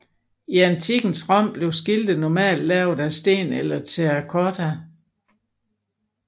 I antikkens Rom blev skilte normalt lavet af sten eller terrakotta